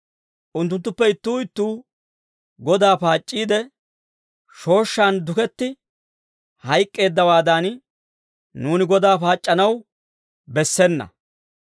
Unttunttuppe ittuu ittuu Godaa paac'c'iide, shooshshaan duketti hayk'k'eeddawaadan, nuuni Kiristtoosa paac'c'anaw bessena.